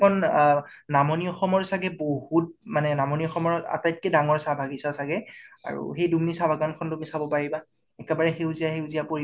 সেইখন অ নামনি আসমৰ চাগে বহুত ডাঙৰ মানে নামনি আসমৰ আটাইকৈ ডাঙৰ চাহ বাগিছা চাগে । আৰু সেই দুম্নি চাহ বাগিছা খন ও তুমি চাব পাৰিবা একেবাৰে সেউজীয়া সেউজীয়া পৰিৱেশ